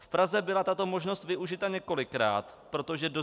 V Praze byla tato možnost využita několikrát, protože do